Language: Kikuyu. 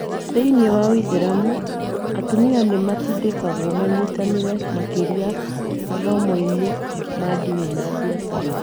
Thĩinĩ wa ũithĩramu, atumia nĩ matindĩkagwo manyitanĩre makĩria mathomo-inĩ ma ndini na biacara.